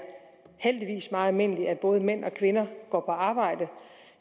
meget almindeligt at både mænd og kvinder går på arbejde